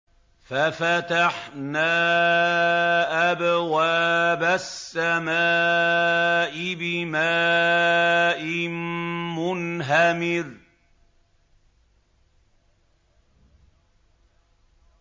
فَفَتَحْنَا أَبْوَابَ السَّمَاءِ بِمَاءٍ مُّنْهَمِرٍ